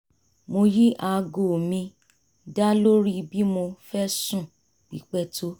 mo yí aago mi da lórí bí mo fẹ́ sùn pípẹ́ tó